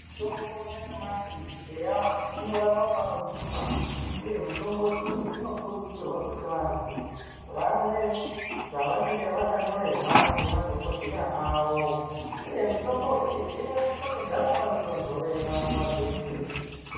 Mitombo yanyamashi eya inorapa panodzimba, uye mitombo iyi inokukurudzirwa kuti vantu vamwe zvavanenge vakanyorerwa ngemadhokodheya avo. Uye mitombo iyi inosise kugara panotontorera nguva dzeshe.